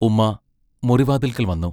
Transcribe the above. ഉമ്മാ മുറി വാതിൽക്കൽ വന്നു.